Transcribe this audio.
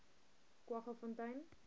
kwaggafontein